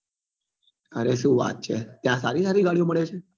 અરે શું વાત છે તા સારી સારી ગાડીઓ મળે છે